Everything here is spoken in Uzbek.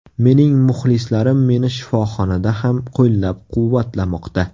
Mening muxlislarim meni shifoxonada ham qo‘llab-quvvatlamoqda.